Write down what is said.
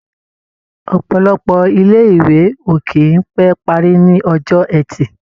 Ọ̀pọ̀lọpọ̀ ilé-ìwé ò kì í pé parí ní Ọjọ́ẹtì.